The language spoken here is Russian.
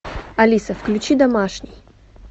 алиса включи домашний